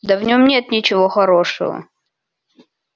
да в нём нет ничего хорошего